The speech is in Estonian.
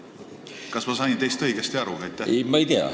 Kas ma sain teist õigesti aru?